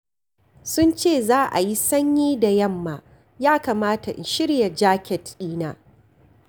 Sun ce za a yi sanyi da yamma, ya kamata in shirya jaket ɗina.